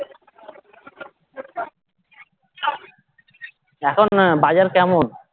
এখন বাজার কেমন